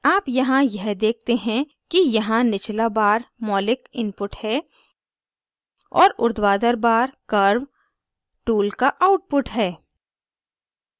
आप यहाँ यह देखते हैं कि यहाँ निचला bar मौलिक input है और उर्ध्वाधर bar curves tool का output है